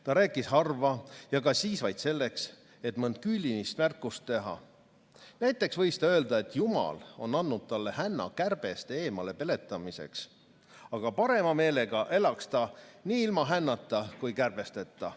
Ta rääkis harva ja ka siis vaid selleks, et mõnd küünilist märkust teha; näiteks võis ta öelda, et Jumal on andnud talle hänna kärbeste eemalepeletamiseks, aga parema meelega elaks ta nii ilma hännata kui ka kärbesteta.